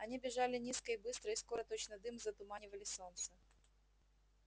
они бежали низко и быстро и скоро точно дым затуманивали солнце